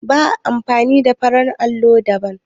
Ba a amfani da farar allo ba da.